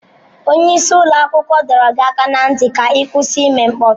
Onye isi ụlọ akwụkwọ dọrọ gị aka ná ntị ka ị kwụsị ime mkpọtụ!